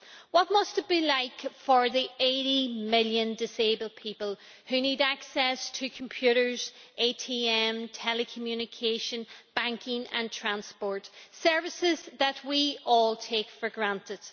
What must it be like for the 80 million disabled people who need access to computers, ATMs, telecommunications, banking and transport services that we all take for granted?